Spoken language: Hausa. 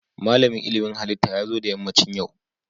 Malamin ilmin halitta ya zo da yammacin yau